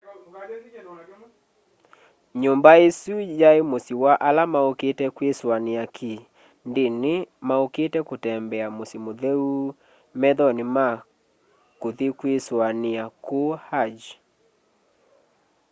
nyumba isu yai musyi wa ala maukite kwisuaniaki ndini maukite kutembea musyi mutheu methoni ma kuthi kwisoania kuu hajj